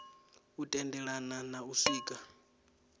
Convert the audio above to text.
u tendelana na u swika